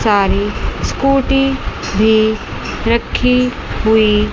सारी स्कूटी भी रखी हुई--